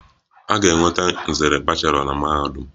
A ga-enweta nzere bachelọ na mahadum.